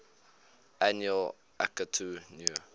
annual akitu new